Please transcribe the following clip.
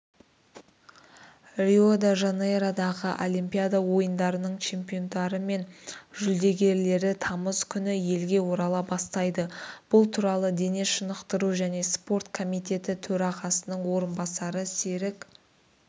рио-де-жанейродағы олимпиада ойындарының чемпиондары мен жүлдегерлері тамыз күні елге орала бастайды бұл туралы дене шынықтыру және спорт комитеті төрағасының орынбасары серік